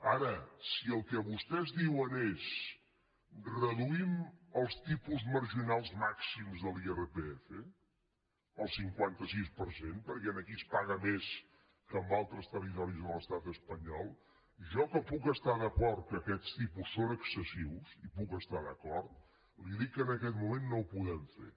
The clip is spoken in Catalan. ara si el que vostès diuen és reduïm els tipus marginals màxims de l’irpf el cinquanta sis per cent perquè aquí es paga més que en altres territoris de l’estat espanyol jo que puc estar d’acord que aquests tipus són excessius hi puc estar d’acord li dic que en aquest moment no ho podem fer